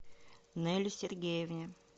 неле сергеевне